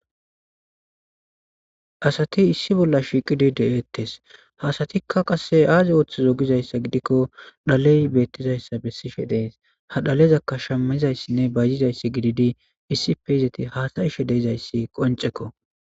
Asati issi bolla shiiqidi de7eetees. Ha asatikka qasse aaza oothizo gizayssa gidiko dhale beetizayssa besishe de7ees. Ha dhalezaka shammizayssanne bayzizayssa gididi issippe izaati haasayishe de7izayssi qonccekko.